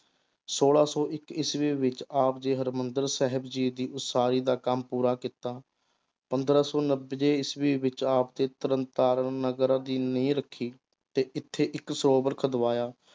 ਛੋਲਾਂ ਸੌ ਇੱਕ ਈਸਵੀ ਵਿੱਚ ਆਪ ਜੀ ਹਰਿਮੰਦਰ ਸਾਹਿਬ ਜੀ ਦੀ ਉਸਾਰੀ ਦਾ ਕੰਮ ਪੂਰਾ ਕੀਤਾ, ਪੰਦਰਾਂ ਸੌ ਨੱਬੇ ਈਸਵੀ ਵਿੱਚ ਆਪ ਦੇ ਤਰਨ ਤਾਰਨ ਨਗਰ ਦੀ ਨੀਂਹ ਰੱਖੀ, ਤੇ ਇੱਥੇ ਇੱਕ ਸਰੋਵਰ ਖੁਦਵਾਇਆ।